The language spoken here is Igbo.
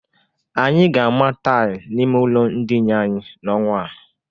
Anyị ga-ama taịl n'ime ụlọ ndịna anyị n'ọnwa a.